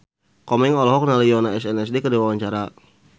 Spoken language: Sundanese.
Komeng olohok ningali Yoona SNSD keur diwawancara